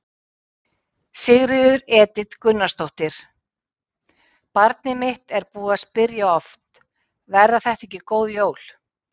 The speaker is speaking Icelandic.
Sigríður Edith Gunnarsdóttir: Barnið mitt er búið að spyrja oft: Verða þetta ekki góð jól?